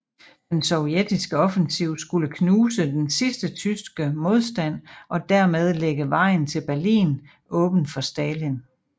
Den sovjetiske offensiv skulle knuse den sidste tyske modstand og derved lægge vejen til Berlin åben for Stalin